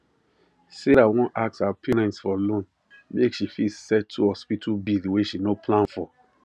sarah wan ask her parents for loan make she fit settle hospital bill wey she no plan for